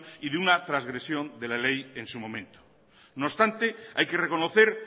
y de una trasgresión de la ley en su momento no obstante hay que reconocer